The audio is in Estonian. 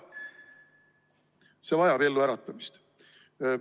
See vajab elluäratamist.